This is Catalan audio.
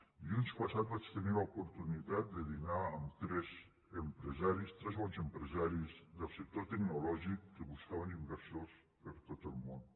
dilluns passat vaig tenir l’oportunitat de dinar amb tres empresaris tres bons empresaris del sector tecnològic que buscaven inversors per tot el món